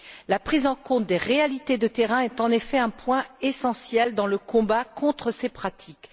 La prise en compte des réalités de terrain est en effet un point essentiel dans le combat contre ces pratiques.